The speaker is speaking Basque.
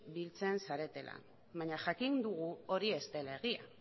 biltzen zaretela baina jakin dugu hori ez dela egia